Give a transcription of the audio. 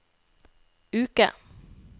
uke